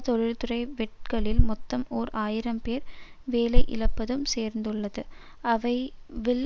தொழில்துறை வெட்டுக்களில் மொத்தம் ஓர் ஆயிரம் பேர் வேலையிழப்பதும் சேர்ந்துள்ளது அவை வில்